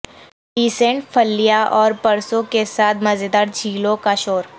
descend پھلیاں اور پرسوں کے ساتھ مزیدار جھیلوں کا شور